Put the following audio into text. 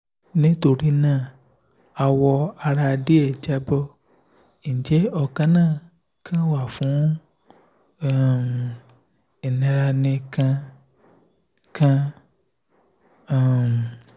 nitorina awo ara die jabo nje onakana kan wa fun um ilera ni kan kan? um